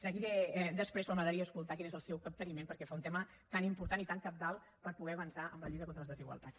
seguiré després però m’agradaria escoltar quin és el seu capteniment pel que fa a un tema tan important i tan cabdal per poder avançar en la lluita contra les desigualtats